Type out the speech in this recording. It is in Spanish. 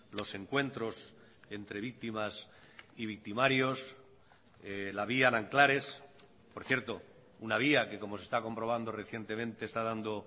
los encuentros entre víctimas y victimarios la vía nanclares por cierto una vía que como se está comprobando recientemente está dando